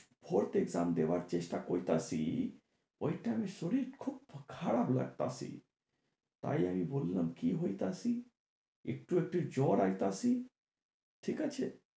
hot exam দেওয়ার চেষ্টা করতাছি, ঐ time এ শরীর খুব খারাপ লাগতাছে। তাই আমি বললাম কি হইতাছি, একটু একটু জ্বর আইতাছে, ঠিক আছে?